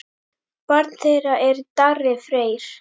Barn þeirra er Darri Freyr.